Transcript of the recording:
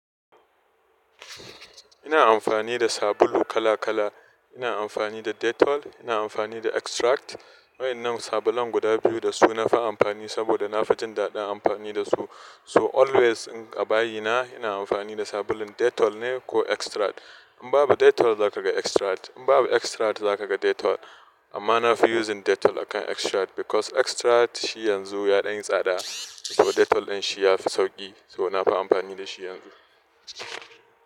Ina amfani da sabulu kala kala. Ina amfani da Dettol, ina amfani da Extract. Wa'ennan sabulun guda biyu da su nafi amfani saboda na fi jin daɗin amfani da su. So always in abayi na, ina amfani da sabulun Dettol ne ko Extract. In babu Dettol, za ka ga Extract. In babu Extract, za ka ga Dettol. Amma nafi using Dettol akan Extract because Extract shi yanzu ya ɗan yi tsada, to Dettol in shi yafi sauƙi, so nafi amfani da shi yanzu.